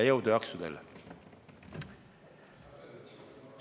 Jõudu ja jaksu teile!